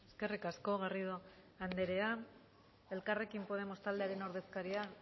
eskerrik asko garrido andrea elkarrekin podemos taldearen ordezkaria